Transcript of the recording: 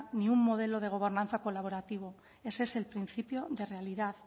ni un modelo de gobernanza colaborativo ese es el principio de realidad